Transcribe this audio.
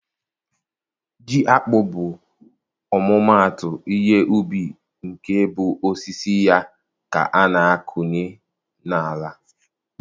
Ji akpụ bụ ọmụmatụ ihe ubi nke bụ osisi ya ka a na-akụnye na-ala.